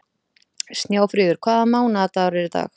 Snjáfríður, hvaða mánaðardagur er í dag?